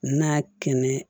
N'a kɛnɛ